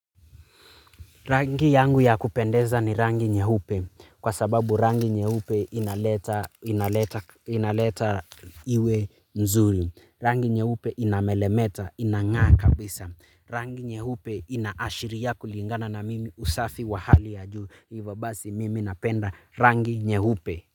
Rangi yangu ya kupendeza ni rangi nyeupe kwa sababu rangi nyeupe inaleta iwe mzuri. Rangi nyeupe inamelemeta inang'aa kabisa. Rangi nyeupe inaashiria kulingana na mimi usafi wa hali ya juu. Hivo basi mimi napenda rangi nyeupe.